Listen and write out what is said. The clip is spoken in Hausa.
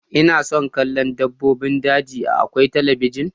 Ina son kallon dabbobin daji a akwain talabijin.